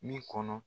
Min kɔnɔ